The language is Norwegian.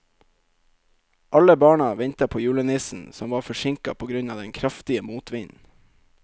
Alle barna ventet på julenissen, som var forsinket på grunn av den kraftige motvinden.